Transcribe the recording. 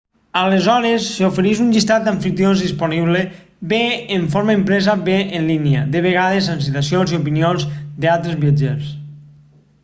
aleshores s'ofereix un llistat d'amfitrions disponibles bé en forma impresa bé en línia de vegades amb citacions i opinions d'altres viatgers